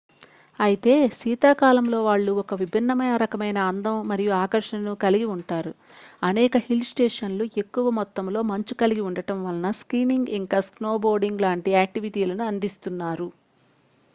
అయితే శీతాకాలంలో వాళ్ళు ఒక విభిన్న రకమైన అందం మరియు ఆకర్షణను కలిగి ఉంటారు అనేక హిల్ స్టేషన్లు ఎక్కువ మొత్తాలో మంచు కలిగి ఉండటం వలన స్కీయింగ్ ఇంకా స్నోబోర్డింగ్ లాంటి యాక్టివిటీలని అందిస్తున్నారు